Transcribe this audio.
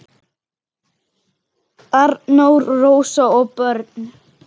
Arnór, Rósa og börn.